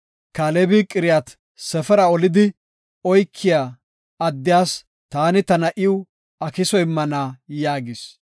Kaalebi, “Qiriyat-Sefera olidi, oykiya addiyas taani, ta na7iw Akiso immana” yaagis.